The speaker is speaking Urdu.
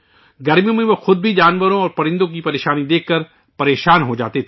گرمیوں میں وہ خود بھی جانوروں اور پرندوں کی یہ پریشانی دیکھ کر پریشان ہو جاتے تھے